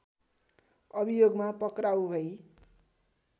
अभियोगमा पक्राउ भई